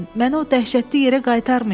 Məni o dəhşətli yerə qaytarmayın.